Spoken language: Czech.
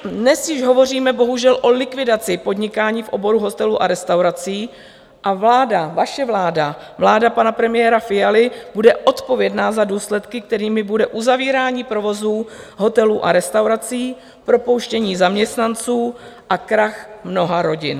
Dnes již hovoříme bohužel o likvidaci podnikání v oboru hotelů a restaurací a vláda, vaše vláda, vláda pana premiéra Fialy, bude odpovědná za důsledky, kterými bude uzavírání provozů hotelů a restaurací, propouštění zaměstnanců a krach mnoha rodin.